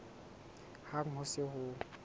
hang ha ho se ho